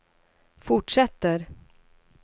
fortsätter